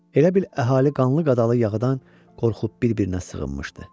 Elə bil əhali qanlı-qadalı yağıdan qorxub bir-birinə sığınmışdı.